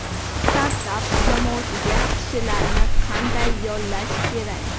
Startap jamoasiga kishilarni qanday yollash kerak?.